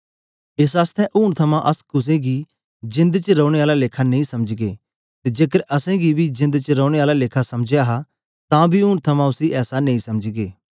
एस आसतै ऊन थमां अस कुसे गी जेंद च रौने आला लेखा नेई समझगे ते जेकर असैं मसीह गी बी जेंद च रौने आला लेखा समझया हा तां बी ऊन थमां उसी ऐसा नेई समझगे